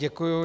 Děkuji.